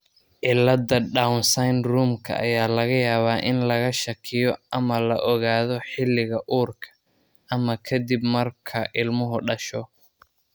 Cilladda Down syndrome-ka ayaa laga yaabaa in laga shakiyo iyo/ama la ogaado xilliga uurka, ama ka dib marka ilmuhu dhasho.